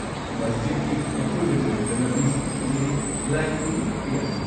ꯃꯁꯖꯤꯗꯀꯤ ꯑꯀꯣꯏꯕꯗ ꯂꯩꯕ ꯂꯝꯕꯤꯁꯤꯡꯁꯨ ꯊꯤꯡꯖꯤꯜꯂꯤ, ꯂꯥꯏ ꯈꯨꯔꯨꯝꯕꯈꯛꯇ ꯌꯥꯍꯜꯜꯤ꯫